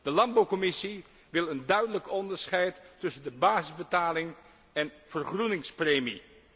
De landbouwcommissie wil een duidelijk onderscheid tussen de basisbetaling en vergroeningspremie.